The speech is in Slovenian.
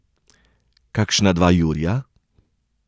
Kakšna dva jurja?